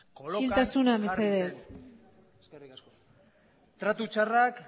kolokan jarri zen isiltasuna mesedez eskerrik asko tratu txarrak